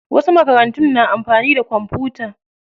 Wasu makarantun na amfani da kwamfuta.